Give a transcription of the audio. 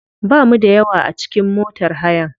Bamu da yawa a cikin motar hayan.